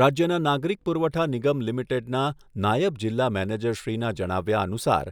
રાજ્યના નાગરિક પુરવઠા નિગમ લિમિટેડના નાયબ જિલ્લા મેનેજરશ્રીના જણાવ્યા અનુસાર